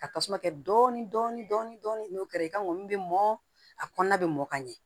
Ka tasuma kɛ dɔɔnin dɔɔnin n'o kɛra i ka ŋɔni bɛ mɔn a kɔnɔna bɛ mɔn ka ɲɛ